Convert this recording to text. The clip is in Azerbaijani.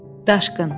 Daşqın.